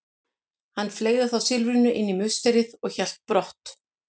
Hann fleygði þá silfrinu inn í musterið og hélt brott.